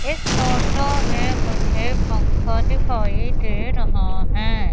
इस फोटो में मुझे पंखा दिखाई दे रहा है।